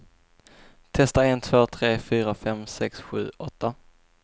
Testar en två tre fyra fem sex sju åtta.